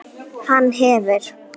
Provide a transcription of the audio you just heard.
Hann hefur.